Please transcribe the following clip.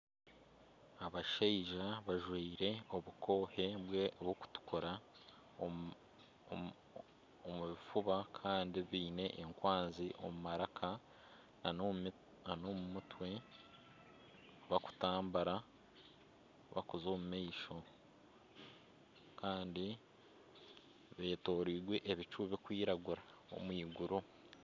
Abashaija bajwire obukoohe bw'okutukura omu bifuba Kandi baine enkwanzi omu maraka nana omu mutwe bakutambura bakuza omu maisho Kandi betoreirwe ebicu bikwiragura omu eiguru.